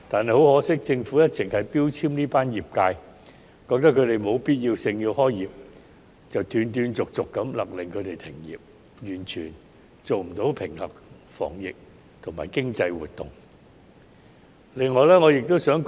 可惜的是，政府一直標籤這群業界，認為它們屬非必要行業，因此斷斷續續地勒令其停業，完全忽視平衡防疫和經濟活動的需要。